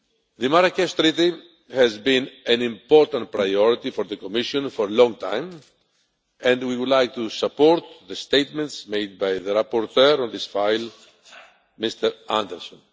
The Marrakesh Treaty has been an important priority for the Commission for a long time, and we would like to support the statements made by the rapporteur of this file, Mr Andersson.